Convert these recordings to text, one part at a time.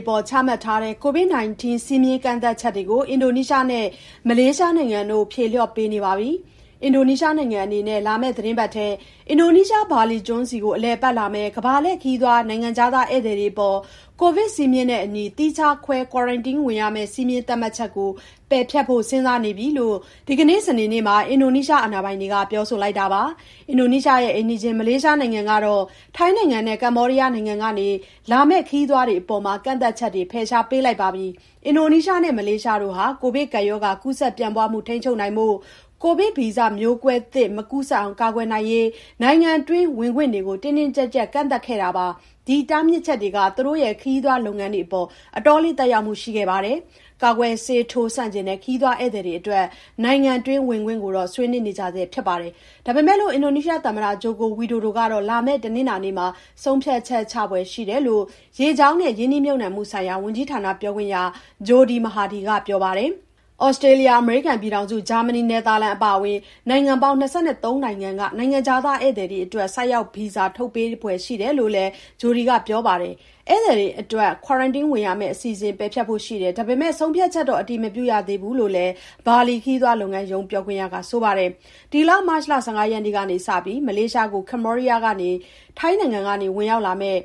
အပေါ် ချမှတ်ထားတဲ့ COVID-19 စည်းမျဉ်းကန့်သတ်ချက်တွေကို အင်ဒိုနီးရှားနဲ့ မလေးရှားနိုင်ငံတို့ ဖြေလျှော့ပေးနေပါပြီ။ အင်ဒိုနီးရှားနိုင်ငံအနေနဲ့ လာမယ့်သီတင်းပတ်ထဲ အင်ဒိုနီးရှား ဘာလီကျွန်းဆီကို အလည်အပတ်လာမယ့် ကမ္ဘာလှည့်ခရီးသွား နိုင်ငံခြားသား ဧည့်သည်တွေအပေါ် ကိုဗစ်စည်းမျဉ်းနဲ့အညီ သီးခြားခွဲ ကွာရမ်တင်းဝင်ရမယ့် စည်းမျဉ်းသတ်မှတ်ချက်ကို ပယ်ဖျက်ဖို့ စဉ်းစားနေပါပြီလို့ ဒီကနေ့ စနေနေ့မှာ အင်ဒိုနီးရှား အာဏာပိုင်တွေက ပြောလိုက်တာပါ။ အင်ဒိုနီးရှားရဲ့ အိမ်နီးချင်း မလေးရှားနိုင်ငံကတော့ ထိုင်းနိုင်ငံနဲ့ ကမ္ဘောဒီးယားနိုင်ငံကနေ လာမယ့် ခရီးသွားတွေအပေါ် ကန့်သတ်ချက်တွေ ဖယ်ရှားပေးလိုက်ပါပြီ။ အင်ဒိုနီးရှားနဲ့ မလေးရှားတို့ဟာ ကိုဗစ်ကပ်ရောဂါ ကူးစက်ပြန့်ပွားမှု ထိန်းချုပ်နိုင်ဖို့ ကိုဗစ်ဗီဇမျိုးကွဲသစ် မကူးစက်အောင် ကာကွယ်နိုင်ရေး နိုင်ငံတွင်းဝင်ခွင့်တွေကို တင်းတင်းကျပ်ကျပ် ကန့်သတ်ခဲ့တာပါ။ ဒီတားမြစ်ချက်တွေက သူတို့ရဲ့ ခရီးသွားလုပ်ငန်းတွေအပေါ် အတော်လေး သက်ရောက်မှုတွေ ရှိခဲ့ပါတယ်။ ကာကွယ်ဆေးထိုးဆန့်ကျင်တဲ့ ခရီးသွားဧည့်သည်တွေအတွက် နိုင်ငံတွင်း ဝင်ခွင့်ကိုတော့ ဆွေးနွေးနေကြဆဲ ဖြစ်ပါတယ်။ ဒါပေမယ့် အင်ဒိုနီးရှားသမ္မတ ဂျိုကိုဝီဒိုဒိုကတော့ လာမယ့် တနင်္လာနေ့မှာ ဆုံးဖြတ်ချက်ချဖွယ်ရှိတယ်လို့ ရေကြောင်းနဲ့ ရင်းနှီးမြှုပ်နှံမှုဆိုင်ရာ ဝန်ကြီးဌာန ပြောခွင့်ရ ဂျိုဒီမဟာဒီက ပြောပါတယ်။ သြစတြေးလျ၊ အမေရိကန်ပြည်ထောင်စု၊ ဂျာမနီ၊ နယ်သာလန် အပါအဝင် နိုင်ငံပေါင်း ၂၃ နိုင်ငံက နိုင်ငံခြားသား ဧည့်သည်တွေအတွက် ဆိုက်ရောက်ဗီဇာ ထုတ်ပေးဖွယ် ရှိတယ်လို့လည်း ဂျိုဒီမဟာဒီက ပြောပါတယ်။ ဧည့်သည်တွေအတွက် ကွာရမ်တင်းဝင်ရမယ့် အစီအစဉ် ပယ်ဖျက်ဖို့ရှိတယ်၊ ဒါပေမယ့် ဆုံးဖြတ်ချက်တော့ အတည်မပြုရသေးဘူးလို့လည်း ဘာလီခရီးသွားလုပ်ငန်းရုံး ပြောခွင့်ရက ပြောပါတယ်။ မတ်လ ၁၅ ရက်ကနေစပြီး မလေးရှားကို ကမ္ဘောဒီးယားနဲ့ ထိုင်းနိုင်ငံကနေ ဝင်ရောက်လာမယ့်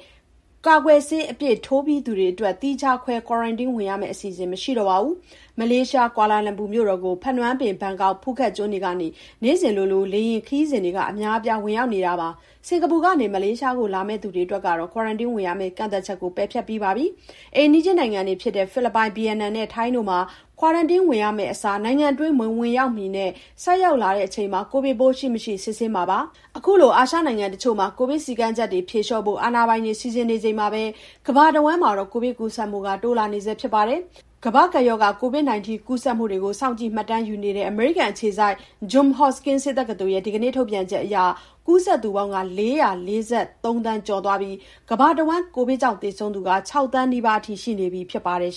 ကာကွယ်ဆေး အပြည့်ထိုးပြီးသား သူတွေအတွက် သီးခြားခွဲ ကွာရမ်တင်းဝင်ရမယ့် အစီအစဉ် မရှိတော့ပါဘူး။ မလေးရှား ကွာလာလမ်ပူကို ဖနွမ်းပင်၊ ဘန်ကောက်နဲ့ ဖူးခက်ကျွန်းတွေကနေ နေ့စဉ်လို လေယာဉ်ခရီးစဉ်တွေ အများအပြား ဝင်ရောက်နေတာပါ။ စင်ကာပူကနေ မလေးရှားကို လာသူတွေအတွက်ကတော့ ကွာရမ်တင်းဝင်ရမယ့် ကန့်သတ်ချက်ကို ပယ်ဖျက်ပြီးသားပါ။ အိမ်နီးချင်းနိုင်ငံတွေဖြစ်တဲ့ ဖိလစ်ပိုင်၊ ဗီယက်နမ်နဲ့ ထိုင်းနိုင်ငံတွေမှာလည်း ကွာရမ်တင်းဝင်ရမယ့်အစား နိုင်ငံတွင်း မဝင်ရောက်မီနဲ့ ဆိုက်ရောက်လာချိန် ကိုဗစ်ပိုးရှိမရှိ စစ်ဆေးခဲ့ပါတယ်။ အခုလို အာရှနိုင်ငံတချို့မှာ ကိုဗစ်စည်းကမ်းချက်တွေ ဖြေလျှော့ဖို့ အာဏာပိုင်တွေ စီစဉ်နေချိန်မှာ ကမ္ဘာတဝန်းမှာတော့ ကိုဗစ်ကူးစက်မှုတွေက တိုးလာနေဆဲဖြစ်ပြီး ကမ္ဘာ့ကပ်ရောဂါ COVID-19 ကူးစက်မှုတွေကို စောင့်ကြည့်မှတ်တမ်းယူနေတဲ့ အမေရိကန်အခြေစိုက် John Hopkins ဆေးတက္ကသိုလ်ရဲ့ ဒီကနေ့ ထုတ်ပြန်ချက်အရ ကူးစက်သူပေါင်း ၄၄၃ သန်း ကျော်သွားပါပြီ။ ကမ္ဘာတဝန်း ကိုဗစ်ကြောင့် သေဆုံးသူကတော့ ၆ သန်းနီးပါးအထိ ရှိနေပြီဖြစ်ပါတယ်